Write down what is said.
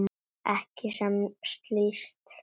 Ekki sem slíkt.